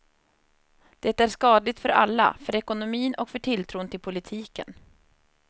Det är skadligt för alla, för ekonomin och för tilltron till politiken.